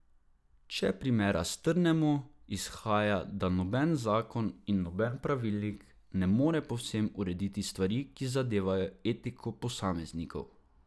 Če primera strnemo, izhaja, da noben zakon in noben pravilnik ne more povsem urediti stvari, ki zadevajo etiko posameznikov.